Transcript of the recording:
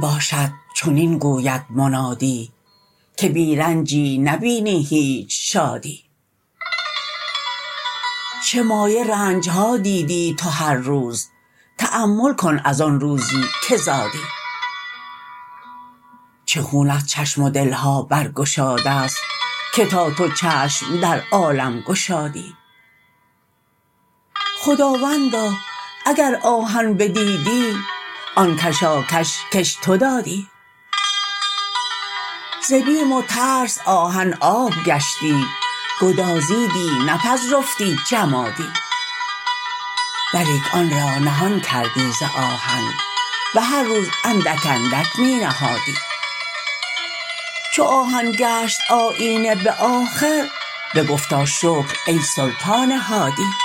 باشد چنین گوید منادی که بی رنجی نبینی هیچ شادی چه مایه رنج ها دیدی تو هر روز تأمل کن از آن روزی که زادی چه خون از چشم و دل ها برگشاده ست که تا تو چشم در عالم گشادی خداوندا اگر آهن بدیدی ز اول آن کشاکش کش تو دادی ز بیم و ترس آهن آب گشتی گدازیدی نپذرفتی جمادی ولیک آن را نهان کردی ز آهن به هر روز اندک اندک می نهادی چو آهن گشت آیینه به آخر بگفتا شکر ای سلطان هادی